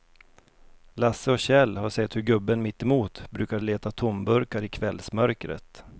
Lasse och Kjell har sett hur gubben mittemot brukar leta tomburkar i kvällsmörkret.